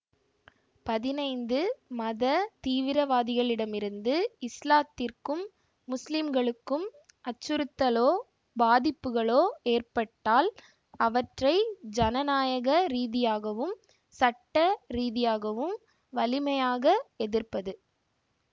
பதினைந்து மத தீவிரவாதிகளிடமிருந்து இஸ்லாத்திற்கும் முஸ்லிம்களுக்கும் அச்சுறுத்தலோ பாதிப்புகளோ ஏற்பட்டால் அவற்றை ஜனநாயக ரீதியாகவும் சட்ட ரீதியாகவும் வலிமையாக எதிர்ப்பது